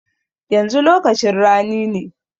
Yanzu lokacin rani ne.